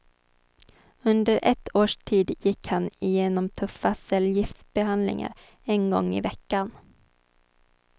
Under ett års tid gick han igenom tuffa cellgiftsbehandlingar en gång i veckan.